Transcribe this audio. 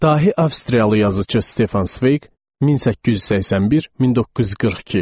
Dahi Avstriyalı yazıçı Stefan Sveq 1881-1942.